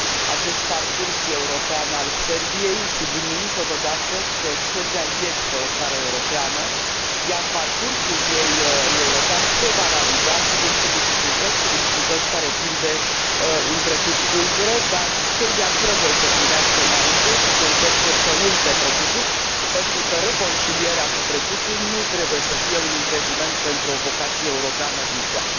acest parcurs european al Serbiei, subliniind totodată că Serbia este o țară europeană, iar parcursul ei european se va realiza, sigur cu dificultăți, cu dificultăți care țin de un trecut tulbure, dar Serbia trebuie să privească înainte și să încerce să uite trecutul, pentru că reconcilierea cu trecutul nu trebuie să fie un impediment pentru o vocație europeană viitoare.